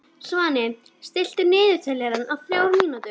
Svani, stilltu niðurteljara á þrjár mínútur.